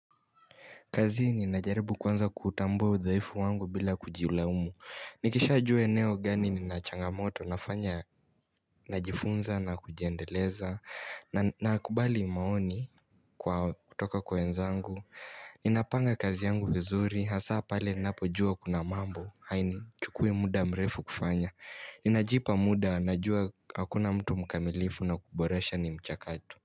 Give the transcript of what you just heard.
Kazi ninajaribu kuanza kutambua udhaifu wangu bila kujilaumu. Nikishajua eneo gani ninachangamoto nafanya najifunza na kujiendeleza nakubali maoni kwa kutoka kwa wenzangu. Ninapanga kazi yangu vizuri hasa pale ninapojua kuna mambo. Hainichukui muda mrefu kufanya. Ninajipa muda najua hakuna mtu mkamilifu na kuboresha ni mchakato.